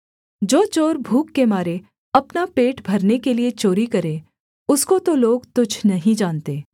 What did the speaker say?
जो चोर भूख के मारे अपना पेट भरने के लिये चोरी करे उसको तो लोग तुच्छ नहीं जानते